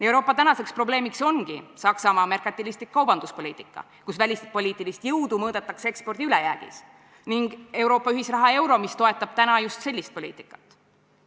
Euroopa tänaseks probleemiks ongi Saksamaa merkantilistlik kaubanduspoliitika, kus välispoliitilist jõudu mõõdetakse ekspordi ülejäägiga, ning Euroopa ühisraha euro, mis toetab täna just sellist poliitikat.